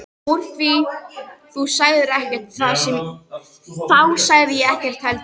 Úr því þú sagðir ekkert þá sagði ég ekkert heldur.